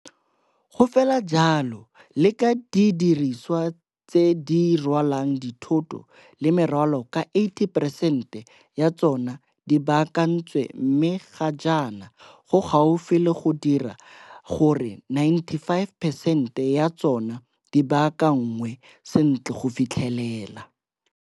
Go fela jalo le ka didi risiwa tse di rwalang dithoto le merwalo ka 80 preesente ya tsona di baakantswe mme ga jaana go gaufi le go dira gore 95 peresente ya tsona di baakanngwe sentle go fitlhelela.